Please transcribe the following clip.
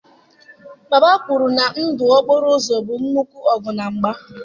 Baba kwuru na ndụ okporo ụzọ bụ nnukwu ọgụ na mgba.